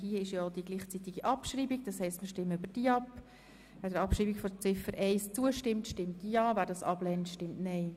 Wer der Abschreibung von Ziffer 1 zustimmt, stimmt Ja, wer diese ablehnt, stimmt Nein.